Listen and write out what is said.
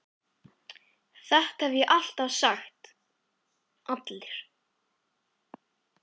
VILHJÁLMUR: Þetta hef ég alltaf sagt: Allir